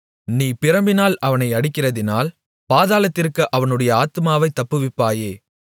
நீ பிரம்பினால் அவனை அடிக்கிறதினால் பாதாளத்திற்கு அவனுடைய ஆத்துமாவைத் தப்புவிப்பாயே